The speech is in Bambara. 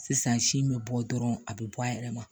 Sisan si be bɔ dɔrɔn a be bɔ a yɛrɛ ma